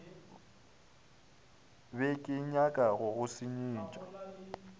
be kenyaka go go senyetša